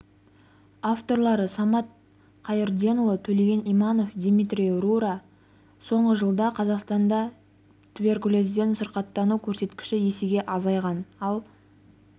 авторлары самат қайырденұлы төлеген иманов дмитрий рура соңғы жылда қазақстанда туберкулезбен сырқаттану көрсеткіші есеге азайған ал